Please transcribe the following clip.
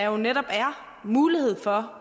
jo netop er mulighed for